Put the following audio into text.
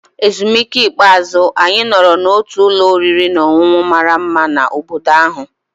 Ezumike ikpeazụ, anyị nọrọ n'otu ụlọ oriri na ọṅụṅụ mara mma na obodo ahụ.